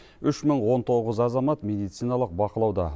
үш мың он тоғыз азамат медициналық бақылауда